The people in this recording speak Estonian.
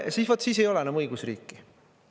Vot siis ei ole enam õigusriiki.